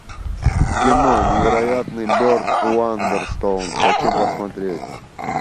кино невероятный берт уандерстоун хочу посмотреть